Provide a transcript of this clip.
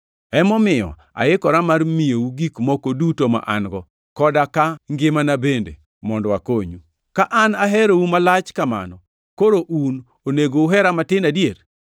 Emomiyo aikora mar miyou gik moko duto ma an-go, koda ka ngimana bende, mondo akonyu. Ka an aherou malach kamano, koro un onego uhera matin adier?